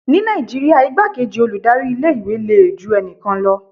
Ní Nàìjíríà igbá kejí olùdarí ilé ìwé le ju ẹnikan lọ.